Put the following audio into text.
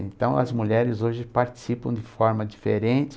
Então, as mulheres hoje participam de forma diferente.